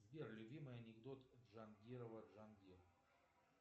сбер любимый анекдот джангирова джангир